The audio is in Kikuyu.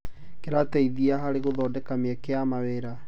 Kĩrateithia harĩ gũthondeka mĩeke ya wĩra.